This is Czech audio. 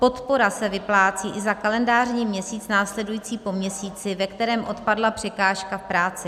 Podpora se vyplácí i za kalendářní měsíc následující po měsíci, ve kterém odpadla překážka v práci.